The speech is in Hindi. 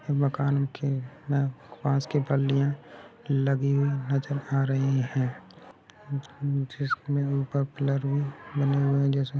ये मकान के बांस के पल्लिया लगी हुई नजर आ रही है जिसमे ऊपर पिलर भी बने हुए हैजिसमे---